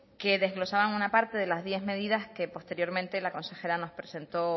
que desglosaban una parte de las diez medidas que posteriormente la consejera nos presentó